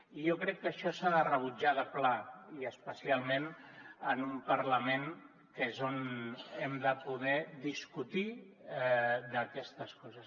i jo crec que això s’ha de rebutjar de pla i especialment en un parlament que és on hem de poder discutir d’aquestes coses